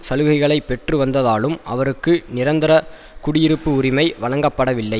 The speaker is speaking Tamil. சலுகைகளை பெற்றுவந்ததாலும் அவருக்கு நிரந்தர குடியிருப்பு உரிமை வழங்கப்படவில்லை